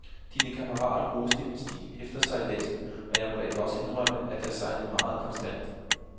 Dine kammerater roste min stil efter sejladsen, og jeg må da også indrømme, at jeg sejlede meget konstant.